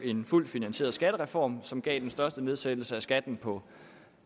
en fuldt finansieret skattereform som gav den største nedsættelse af skatten på